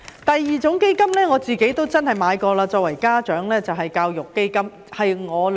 第二種基金，就是我作為家長購買過的教育基金。